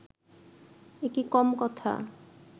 একি কম কথা